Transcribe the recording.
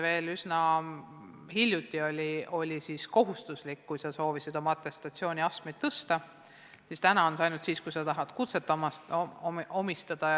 Veel hiljuti oli see kohustuslik, kui sa soovisid oma atestatsiooniastet tõsta, praegu on see ainult siis, kui sa tahad kutset omandada.